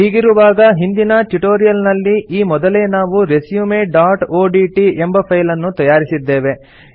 ಹೀಗಿರುವಾಗ ಹಿಂದಿನ ಟ್ಯುಟೋರಿಯಲ್ ನಲ್ಲಿ ಈ ಮೊದಲೇ ನಾವು resumeಒಡಿಟಿ ಎಂಬ ಫೈಲ್ ಅನ್ನು ತಯಾರಿಸಿದ್ದೇವೆ